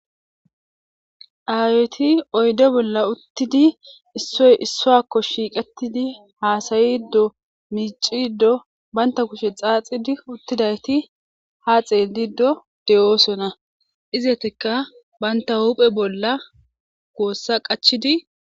aaweti oyde bolla uttidi issoy issoakko shiiqetidi haasayiddo miicido baynta kushe xaaxidi uttidayti ha xeeldido de7oosona izeeteka baynta huuphe bolla goossa qachidi